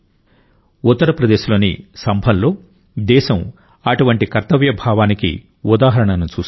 ఉత్తరప్రదేశ్ లోని సంభల్లో దేశం అటువంటి కర్తవ్య భావానికి ఉదాహరణను చూసింది